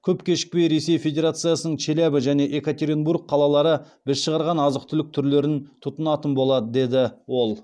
көп кешікпей ресей федерациясының челябі және екатеринбург қалалары біз шығарған азық түлік түрлерін тұтынатын болады деді ол